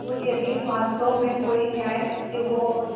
और यदि वास्तव में कोई न्यायशक्ति हो और